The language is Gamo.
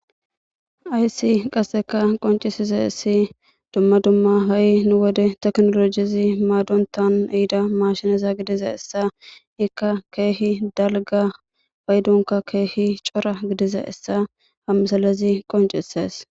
Haysi kaseka qonchisizaysi duma duma haysi nu wode tekinolojezi maadotan ehida maashineza gidizaysa izika keehipe dalga paydonka keehi cora gidizaysa ha misilezi qoncises.